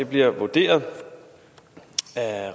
bliver vurderet til at